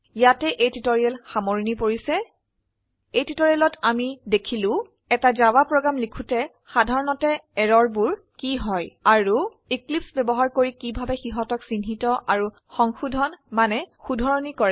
ইয়াতে এই টিউটৰীয়েল সামৰনি পৰিছে এই টিউটৰীয়েলত আমি দেখিলো এটা জাভা প্ৰোগ্ৰাম লিখোতে সাধাৰনতে এৰৰ বোৰ কি হয় আৰো এক্লিপছে ব্যবহাৰ কৰি কিভাবে সিহতক চিহ্নিত আৰু সংশোধন শুধৰনি কৰে